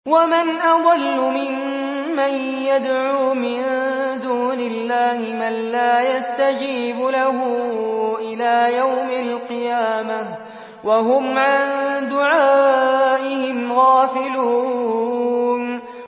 وَمَنْ أَضَلُّ مِمَّن يَدْعُو مِن دُونِ اللَّهِ مَن لَّا يَسْتَجِيبُ لَهُ إِلَىٰ يَوْمِ الْقِيَامَةِ وَهُمْ عَن دُعَائِهِمْ غَافِلُونَ